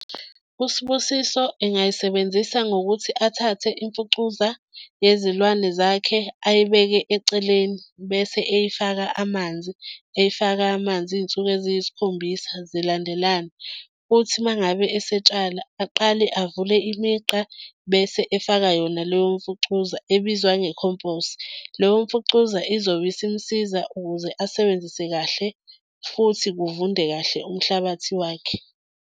USibusiso engayisebenzisa ngokuthi athathe imfucuza yezilwane zakhe ayibeke eceleni bese eyifaka amanzi, eyifaka amanzi iy'nsuku eziyisikhombisa zilandelane. Uthi uma ngabe esetshala aqale avule imigqa bese efaka yona leyo mfucuza ebizwa nge-compost. Leyo mfucuza izobe isimsiza ukuze asebenzise kahle futhi kuvunde kahle umhlabathi wakhe.